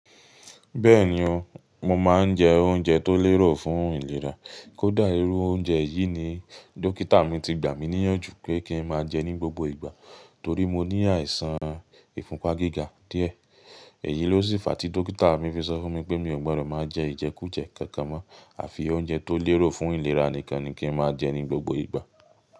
Bẹ́ẹ̀ni o, mo máa ń jẹ oúnjẹ tó lérò fún ìlera. Kódà irú oúnjẹ yìí ni dókítà mi ti gbà mí níyànjú pé kí n máa jẹ ní gbogbo ìgbà torí mo ní àìsàn ìfúnpá gíga díẹ̀. Èyí ló sì fa tí dókítà mi fi sọ fún mi pé mi ò gbọdọ̀ máa jẹ Ìjẹkújẹ kankan mọ́ àfi oúnjẹ tó lérò fún ìlera nìkan ni kí n máa jẹ ní gbogbo ìgbà.